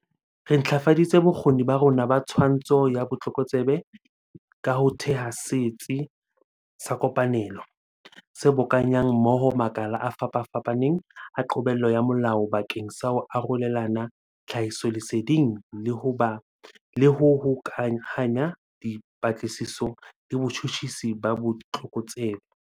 Re ntlafaditse bokgoni ba rona ba twantsho ya botlokotsebe ka ho theha Setsi sa Kopanelo, se bokanyang mmoho makala a fapafapaneng a qobello ya molao bakeng sa ho arolelana tlhahisoleseding le ho hokahanya dipatlisiso le botjhutjhisi ba botlokotsebe.